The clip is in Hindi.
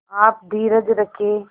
आप धीरज रखें